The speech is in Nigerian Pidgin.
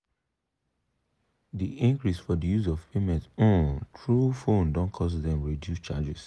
de increase for de use of payment um through phone don cause dem reduce charges.